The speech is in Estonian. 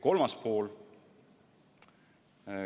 Kolmas teema.